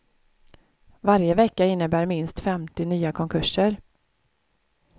Varje vecka innebär minst femtio nya konkurser.